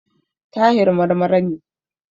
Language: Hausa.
Tahir Marmara ne.